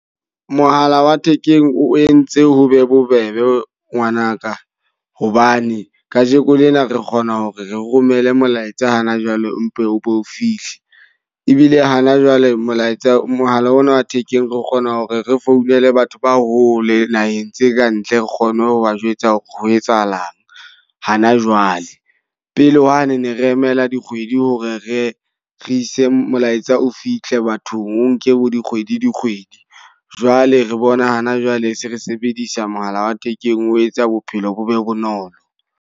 Mohala wa thekeng o entse ho be bobebe ngwanaka. Hobane ka jekolena re kgona hore re romele molaetsa hana jwale o be o fihle. Ebile hana jwale molaetsa, mohala ona wa thekeng re kgona hore re founele batho ba hole naheng tse ka ntle re kgone ho ba jwetsa hore ho etsahalang hana jwale. Pele hwane ne re emela dikgwedi ho re re re ise molaetsa o fihle bathong, o nke bo dikgwedi dikgwedi. Jwale re bona hana jwale se re sebedisa mohala wa thekeng o etsa bophelo bo be bonolo.